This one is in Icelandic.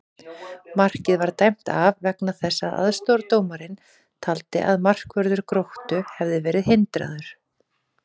Markið var dæmt af vegna þess að aðstoðardómarinn taldi að markvörður Gróttu hefði verið hindraður!